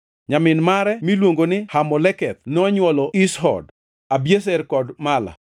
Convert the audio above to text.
Nyamin mare miluongo ni Hamoleketh nonywolo Ishhod, Abiezer kod Mala.